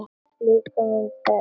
Líkömum þeirra.